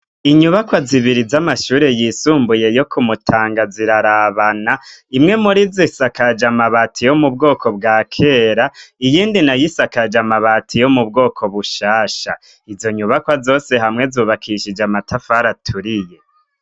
Inyubakwa zibiri z'amashure yisumbuye yo ku Mutanga zirarabana, imwe muri zo isakaje amabati yo mu bwoko bwa kera, iyindi nayo isakaje amabati yo mu bwoko bushasha, izo nyubakwa zose hamwe zubakishije amatafari aturiye.